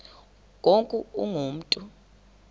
ngoku ungu mntu